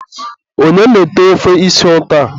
onye na-ete ofe isi ụtọ a?